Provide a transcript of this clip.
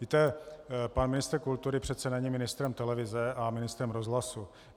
Víte, pan ministr kultury přece není ministrem televize a ministrem rozhlasu.